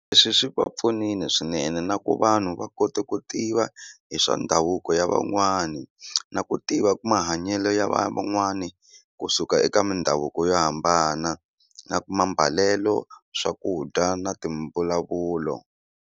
Leswi swi va pfunile swinene na ku vanhu va kote ku tiva hi swa ndhavuko ya van'wani na ku tiva mahanyelo ya vana van'wani kusuka eka mindhavuko yo hambana na mambalelo swakudya na timbulavulo.